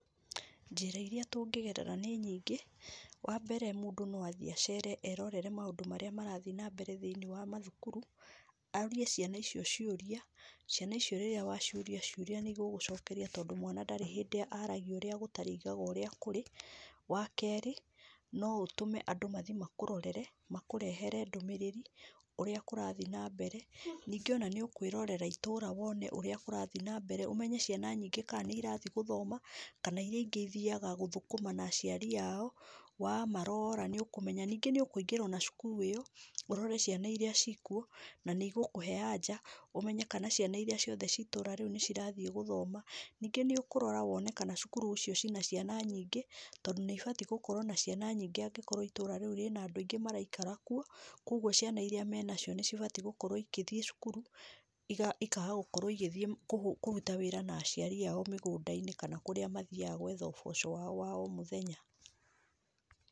Njĩra iria tũngĩgerera nĩ nyingĩ, wambere mũndũ no athiĩ acere erorere maũndũ marĩa marathi nambere thĩinĩ wa mathukuru, ũrie ciana icio ciũria. Ciana icio rĩrĩa waciũria ciũria nĩ igũgũcokeria tondũ mwana ndarĩ hĩndĩ aragia ũrĩa gũtarĩigaga ũrĩa kũrĩ. Wakerĩ, no ũtũme andũ mathi makũrorere makũrehere ndũmĩrĩri, ũrĩa kũrathiĩ nambere. Ningĩ ona nĩ ũkũĩrorera itũũra wone ũrĩa kũrathi nambere, ũmenye ciana nyingĩ kana nĩ irathi gũthoma kana iria ingĩ ithiaga gũthũkũma na aciaria ao, wamarora nĩ ũkũmenya. Ningĩ nĩ ũkũingĩra nginya cukuru ĩyo ũrore ciana iria ciĩkuo na nĩ igũkũhe anja, ũmenye kana ciana iria ciothe ciĩ itũũra rĩu nĩ cirathiĩ gũthoma. Ningĩ nĩũkũrora wone kana cukuru icio ciĩna ciana nyingĩ tondũ nĩ ibatiĩ gũkorwo na ciana nyingĩ angĩkorwo itũũra rĩu rĩna andũ aingĩ maraikara kuo, koguo ciana iria menacio nĩcibatiĩ gũkorwo igĩthiĩ cukuru ikaga gũkorwo igĩthiĩ kũruta wĩra na aciari ao mĩgũnda-inĩ kana kũrĩa mathiaga gwetha ũboco wao wa omũthenya.